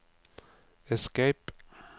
escape